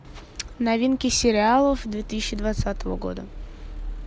новинки сериалов две тысячи двадцатого года